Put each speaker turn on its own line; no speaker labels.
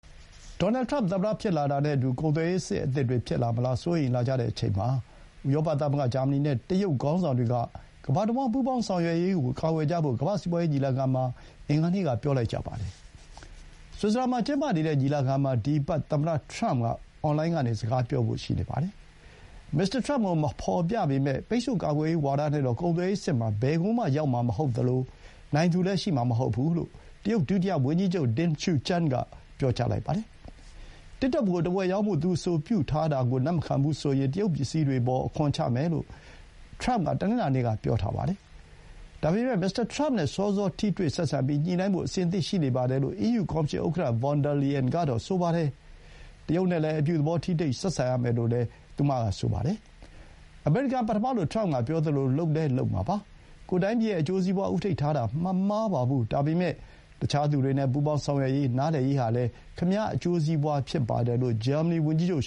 ဒေါ်နယ်လ် ထရမ့် သမ္မတ ဖြစ်လာတာနဲ့အတူ ကုန်သွယ်ရေးစစ် အသစ်တွေ ဖြစ်လာမလား စိုးရိမ်လာကြတဲ့အချိန်မှာ ဥရောပ သမဂ္ဂ၊ ဂျာမနီနဲ့ တရုတ် ခေါင်းဆောင်တွေက ကမ္ဘာတဝှမ်း ပူးပေါင်းဆောင်ရွက်ရေးကို ကာကွယ်ကြဖို့ ကမ္ဘာ့ စီးပွါးရေး ညီလာခံမှာ အင်္ဂါနေ့က ပြောလိုက်ကြပါတယ်။ ဆွစ်ဇာလန်မှာ ကျင်းပနေတဲ့ ညီလာခံမှာ ဒီအပတ်သမ္မတထရမ့် အွန်လိုင်းကနေ စကားပြောဖို့ ရှိပါတယ်။ မစ္စတာ ထရမ့်ကို မဖော်ပြပေမဲ့၊ ပိတ်ဆို့ကာကွယ်ရေး ဝါဒနဲ့တော့ ကုန်သွယ်ရေး စစ်မှာ ဘယ်ကိုမှ ရောက်မှာ မဟုတ်သလို၊ နိုင်သူလည်း ရှိမှာ မဟုတ်ဘူးလို့တရုတ် ဒုတိယ ဝန်ကြီးချုပ် Ding Xuexiang က ပြောပါတယ်။ တစ်တော့ကို တဝက်ရောင်းဖို့သူ အဆိုပြုထားတာကို လက်မခံဘူးဆိုရင် တရုတ်ပစ္စည်းတွေအပေါ် အခွန်ချမယ်လို့ ထရမ့်က တနင်္လာနေ့က ပြောထားပါတယ်။ ဒါပေမဲ့မစ္စတာထရမ့်နဲ့ စောစော ထိတွေ့ဆက်ဆံပြီး၊ ညှိုနှိုင်းဖို့ အဆင်သင့်ရှိပါတယ်လို့ အီးယူ ကော်မရှင် ဥက္ကဌ von der Leyen ကတော့ ဆိုပါတယ်။ တရုတ်နဲ့လည်း အပြုသဘော ထိတွေ့ဆက်ဆံရမယ်လို့လည်း ဆိုပါတယ်။ အမေရိကန် ပထမလို့ ထရမ့်က ပြောသလို လုပ်လည်း လုပ်မှာပါ။ ကိုယ့်တိုင်းပြည်ရဲ့ အကျိုးစီးပွါး ဦးထိပ်ထားတာ မမှားပါဘူး။ ဒါပေမဲ့ တခြားသူတွေနဲ့ ပူးပေါင်း ဆောင်ရွက်ရေး၊ နားလည်ရေး ဟာလည်း ခင်ဗျား အကျိုးစီးပွါး ဖြစ်ပါတယ်လို့ ဂျာမနီ ဝန်ကြီးချုပ်